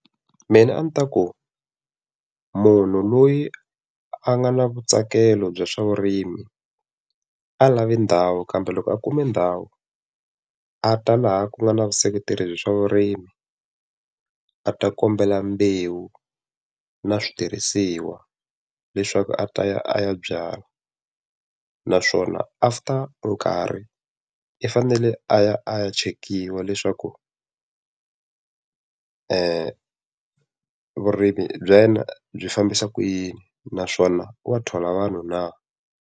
Mina a ndzi ta ku, munhu loyi a nga na vutsakelo bya swa vurimi, a lavi ndhawu kambe loko a kume ndhawu a ta laha ku nga na vuseketeri bya swa vurimi, a ta kombela mbewu na switirhisiwa leswaku a ta ya a ya byala. Naswona after nkarhi i fanele a ya a ya chekiwa leswaku vurimi bya wena byi fambisa ku yini naswona wa thola vanhu na?